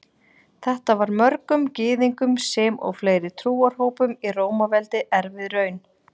Þetta var mörgum Gyðingum sem og fleiri trúarhópum í Rómaveldi erfið raun.